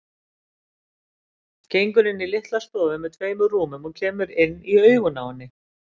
Gengur inn í litla stofu með tveimur rúmum og kemur inn í augun á henni.